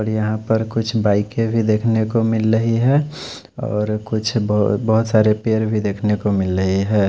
और यहां पर कुछ बाइके भी देखने को मिल रही है और कुछ ब बहोत सारे पेड़ भी देखने को मिल रही है।